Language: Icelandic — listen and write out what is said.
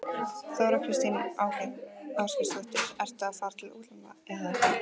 Þóra Kristín Ásgeirsdóttir: Ertu að fara til útlanda, eða?